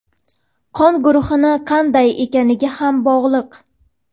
qon guruhi qanday ekaniga ham bog‘liq.